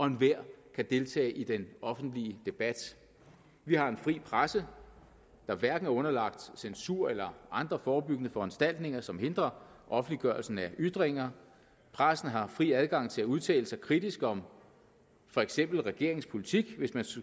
enhver kan deltage i den offentlige debat vi har en fri presse der hverken er underlagt censur eller andre forebyggende foranstaltninger som hindrer offentliggørelsen af ytringer pressen har fri adgang til at udtale sig kritisk om for eksempel regeringens politik hvis man